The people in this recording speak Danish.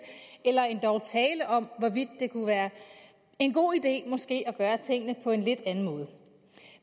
eller endog tale om hvorvidt det kunne være en god idé måske at gøre tingene på en lidt anden måde